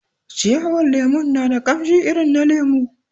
Ciyawar lemon na da kamshi irin na lemu